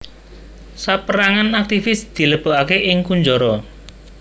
Saperangan aktivis dilebokake ing kunjara